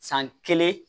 San kelen